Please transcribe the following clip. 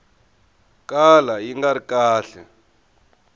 kala yi nga ri kahle